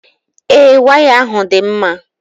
Ee, waya ahụ dị mma.